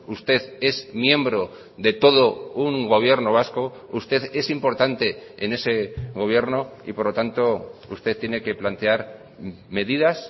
usted es miembro de todo un gobierno vasco usted es importante en ese gobierno y por lo tanto usted tiene que plantear medidas